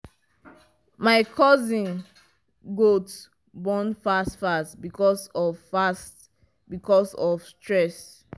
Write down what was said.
my cousin goat born fast fast because of fast because of stress